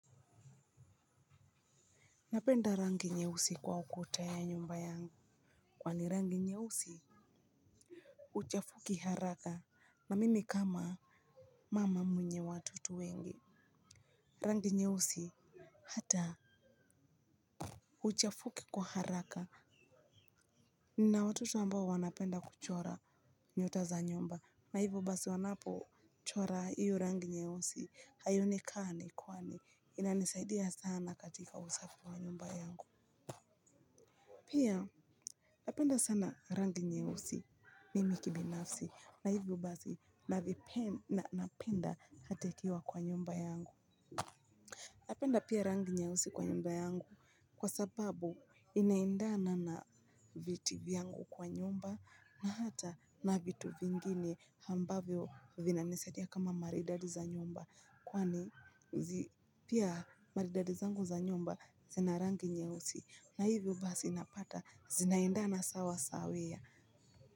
Napenda rangi nyeusi kwa ukuta ya nyumba yangu kwani rangi nyeusi uchafuki haraka na mimi kama mama mwenye watoto wengi rangi nyeusi hata uchafuki kwa haraka nina watoto ambao wanapenda kuchora nyota za nyumba kwa hivo basi wanapo chora iyo rangi nyeusi haionekani kwani inanisaidia sana katika usafi wa nyumba yangu. Pia napenda sana rangi nyeusi mimi kibinafsi na hivyo basi na napenda hata ikiwa kwa nyumba yangu. Napenda pia rangi nyeusi kwa nyumba yangu kwa sababu inaendana na viti vyangu kwa nyumba na hata na vitu vingine ambavyo vina nisadia kama maridadi za nyumba. Kwani pia maridadi zangu za nyumba zinarangi nyeusi na hivyo basi napata zinaendana sawa sawia.